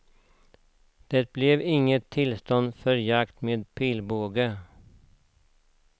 Det blev inget tillstånd för jakt med pilbåge.